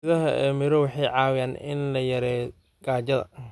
Midhaha ee miro waxay caawiyaan in la yareeyo gaajada.